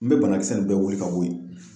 N bɛ banakisɛ nin bɛɛ wili ka bɔ yen.